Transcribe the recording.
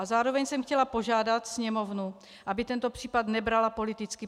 A zároveň jsem chtěla požádat Sněmovnu, aby tento případ nebrala politicky.